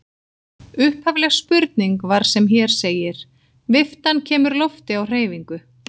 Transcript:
Upphafleg spurning var sem hér segir: Viftan kemur lofti á hreyfingu.